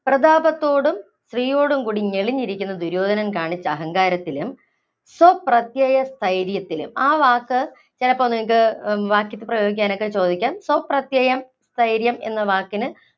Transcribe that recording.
പ്രതാപത്തോടും, ശ്രീയോടും കൂടി ഞെളിഞ്ഞിരിക്കുന്ന ദുര്യോധനൻ കാണിച്ച അഹങ്കാരത്തിന് സ്വപ്രത്യയ സ്ഥൈര്യത്തിലും, ആ വാക്ക് ചിലപ്പോ നിങ്ങള്‍ക്ക് വാക്യത്തില്‍ പ്രയോഗിക്കാനൊക്കെ ചോദിക്കാം. സ്വപ്രത്യയ സ്ഥൈര്യം എന്ന വാക്കിന്